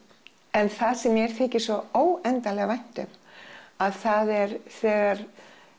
en það sem mér þykir svo óendanlega vænt um að það er þegar